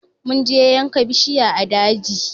Mun je yanka bishiya a daji